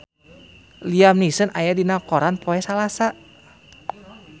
Liam Neeson aya dina koran poe Salasa